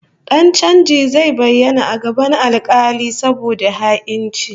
Dan chanjin zai bayyana a gaban alkali saboda ha'inci